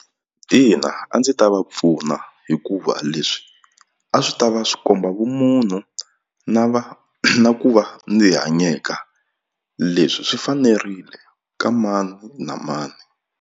Ina a ndzi ta va pfuna hikuva leswi a swi ta va swi komba vumunhu na va na ku va ni hanyeka leswi swi fanerile ka mani na mani.